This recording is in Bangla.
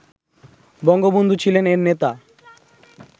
বঙ্গবন্ধু ছিলেন এর নেতা